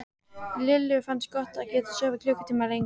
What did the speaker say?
Lillu fannst gott að geta sofið klukkutíma lengur.